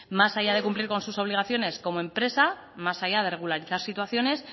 más allá de cumplir sus obligaciones como empresa más allá de regularizar situaciones